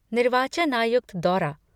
निर्वाचन आयुक्त दौरा